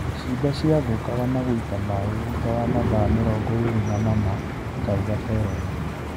Ciimba cia thathũkaga na gũita maĩ thutha wa mathaa mĩrongoĩrĩ namana," akauga Teren.